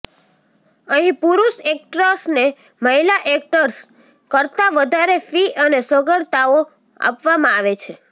અહીં પુરૂષ એક્ટર્સને મહિલા એક્ટર કરતા વધારે ફિ અને સગવડતાઓ આપવામાં આવે છે